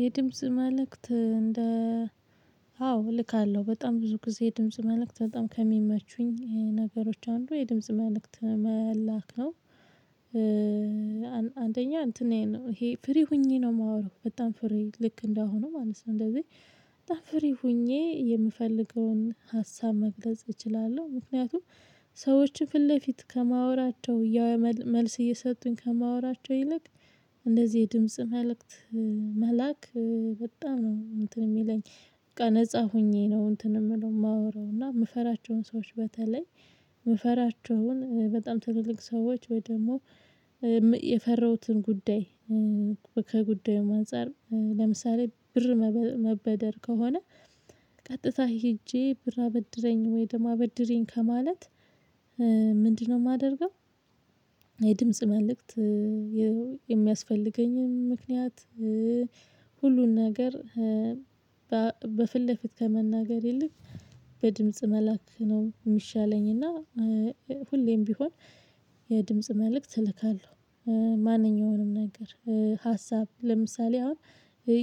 የድምጽ መልእክት እንደ አዎ እልካለሁ በጣም ብዙ ጊዜ ድምጽ መልእክት በጣም ከሚመቹኝ ነገሮች አንዱ የድምጽ መልእክት መላክ ነው። አንደኛ እንትን ነው ይሄ ፍሪ ሆኜ ነው የማወራው በጣም ፍሪ ልክ እንደሆነ ማለት ነው። እንደዚህ በጣም ፍሪ ሆኜ የምፈልገውን ሀሳብ መግለጽ እችላለሁ። ምክንያቱም ሰዎችን ፊት ለፊት ከማወራቸው ያው መልስ እየሰጡኝ ከማወራቸው ይልቅ እንደዚህ የድምጽ መልእክት መላክ በጣም ነው እንትን የሚለኝ። በቃ ነፃ ሆኜ ነው እንትን የምለው የማወራው እና የምፈራቸውን ሰዎች በተለይ የምፈራቸውን በጣም ትልልቅ ሰዎች ወይ ደግሞ የፈራሁትን ጉዳይ። ከጉዳዩም አንፃር ለምሳሌ ብር መበደር ከሆነ ቀጥታ ሄጄ ብር አበድረኝ ወይም አበድሪኝ ከማለት ምንድነው የማደርገው? የድምጽ መልእክት የሚያስፈልገኝም ምክንያት ሁሉን ነገር በፊት ለፊት ከመናገር ይልቅ በድምጽ መላክ ነው የሚሻለኝ። እና ሁሌም ቢሆን የድምጽ መልእክት እልካለሁ። ማንኛውንም ነገር ሀሳብ ለምሳሌ አሁን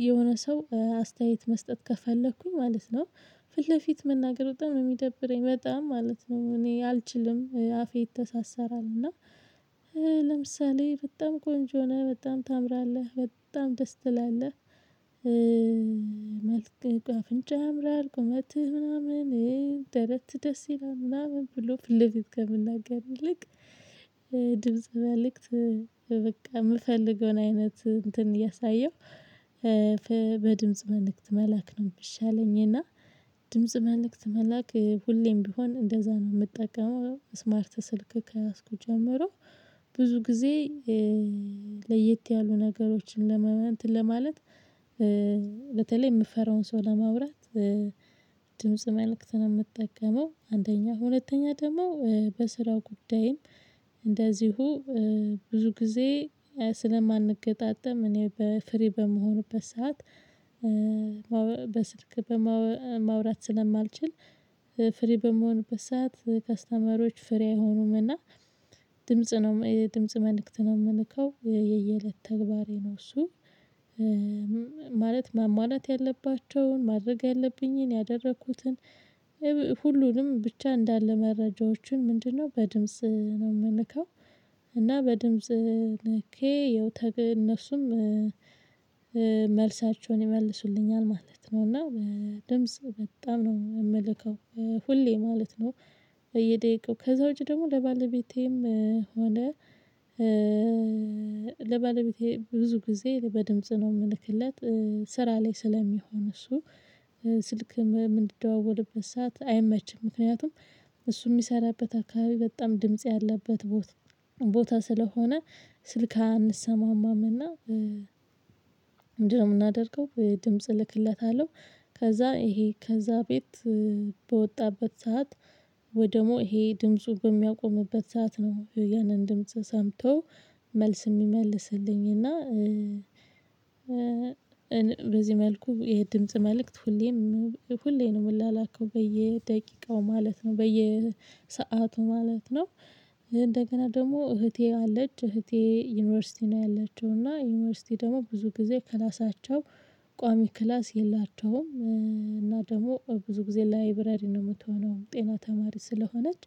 የሆነ ሰው አስተያየት መስጠት ከፈለኩኝ ማለት ነው። ፊት ለፊት መናገር በጣም የሚደብረኝ በጣም ማለት ነው እኔ አልችልም አፌ ይተሳሰራል እና። ለምሳሌ በጣም ቆንጆ ነህ በጣም ታምራለህ በጣም ደስ ትላለህ። መልክህ አፍንጫ ያምራል ቁመትህ ምናምን ደረትህ ደስ ይላል ምናምን ብሎ ፊት ለፊት ከምናገር ይልቅ ድምጽ መልእክት። በቃ የምፈልገውን አይነት እንትን እያሳየው በድምጽ መልእክት መላክ ነው የሚሻለኝ። እና ድምጽ መልእክት መላክ ሁሌም ቢሆን እንደዛ ነው የምጠቀመው ስማርት ስልክ ከያዝኩ ጀመሩ። ብዙ ጊዜ ለየት ያሉ ነገሮችን ለማለት በተለይ የምፈራውን ሰው ለማውራት ድምጽ መልእክት ነው የምጠቀመው። አንደኛ ሁለተኛ ደግሞ በስራው ጉዳይም እንደዚሁ ብዙ ጊዜ ስለማንገጣጠም እኔ በፍሪ በምሆንበት ሰዓት። በስልክ ማውራት ስለማልችል ፍሪ በምሆንበት ሰዓት ከስተመሮች ፍሪ አይሆኑምና። ድምጽ ነው ድምጽ መልእክት ነው የምልከው የየእለት ተግባሬ ነው። እሱ ማለት ማሟለት ያለባቸውን ማድረግ ያለብኝን ያደረኩትን ሁሉንም ብቻ እንዳለ መረጃዎችን ምንድነው በድምጽ ነው የምልከው? እና በድምጽ ልኬ ያው እነሱም መልሳቸውን ይመልሱልኛል ማለት ነው። እና ድምጽ በጣም ነው የምልከው ሁሌ ማለት ነው። በየደቂቃው ከዛ ውጪ ደግሞ ለባለቤቴም ሆነ ለባለቤቴ ብዙ ጊዜ በድምጽ ነው የምልክለት። ስራ ላይ ስለሚሆን እሱ ስልክ የምንደዋወልበት ሰዓት አይመችም ምክንያቱም እሱ የሚሰራበት አካባቢ በጣም ድምጽ ያለበት ቦታ ስለሆነ። ስልክ አንሰማማም እና ምንድን ነው የምናደርገው? ድምጽ እልክለታለሁ። ከዛ ይሄ ከዛ ቤት በወጣበት ሰዓት ወይ ደግሞ ይሄ ድምፁ በሚያቆምበት ሰዓት ነው ያንን ድምጽ ሰምቶ መልስ የሚመልስልኝ እና። በዚህ መልኩ የድምጽ መልእክት ሁሌም ሁሌ ነው የምላላከው በየደቂቃው ማለት ነው በየሰአቱ ማለት ነው። እንደገና ደግሞ እህቴ አለች እህቴ ዩኒቨርሲቲ ነው ያለችው እና ዩኒቨርሲቲ ደግሞ ብዙ ጊዜ ክላሳቸው ቋሚ ክላስ የላቸውም እና ደግሞ ብዙ ጊዜ ላይብረሪ ነው የምትሆነው ጤና ተማሪ ስለሆነች።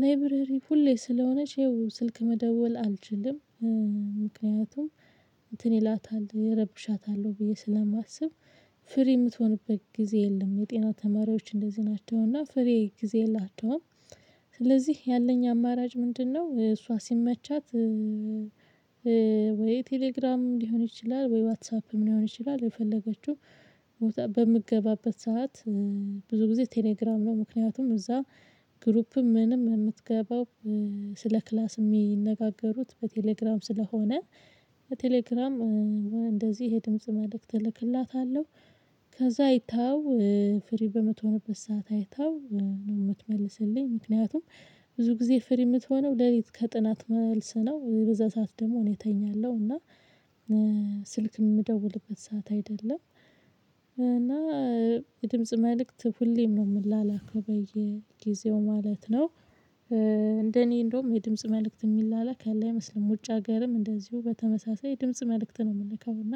ላይብረሪ ሁሌ ስለሆነች ይኸው ስልክ መደወል አልችልም። ምክንያቱም እንትን ይላታል እረብሻታለሁ ብዬ ስለማስብ ፍሪ የምትሆንበት ጊዜ የለም የጤና ተማሪዎች እንደዚህ ናቸውና ፍሪ ጊዜ የላቸውም። ስለዚህ ያለኝ አማራጭ ምንድነው? እሷ ሲመቻት ወይ ቴሌግራም ሊሆን ይችላል ወይ ዋትሳፕም ሊሆን ይችላል የፈለገችው። ቦታ በምትገባበት ሰዓት ብዙ ጊዜ ቴሌግራም ነው ምክንያቱም እዛ ግሩፕም ምንም የምትገባው ስለ ክላስ የሚነጋገሩት በቴሌግራም ስለሆነ በቴሌግራም እንደዚህ የድምጽ መልእክት እልክላታለሁ። ከዛ አይታው ፍሪ በምትሆንበት ሰዓት አይታው ነው የምትመልስልኝ። ምክንያቱም ብዙ ጊዜ ፍሪ የምትሆነው ሌሊት ከጥናት መልስ ነው በዛ ሰዓት ደግሞ እኔ እተኛለሁ እና። ስልክም የምደውልበት ሰዓት አይደለም። እና የድምጽ መልእክት ሁሌም ነው የምላላክው በየጊዜው ማለት ነው። እንደኔ እንደውም የድምጽ መልእክት የሚላላክ ላይ አይመስልም ውጭ ሀገርም እንደዚሁ በተመሳሳይ የድምጽ መልእክት ነው የምልከውና